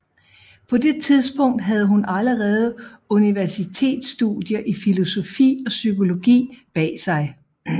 På det tidspunkt havde hun allerede universitetsstudier i filosofi og psykologi bag sig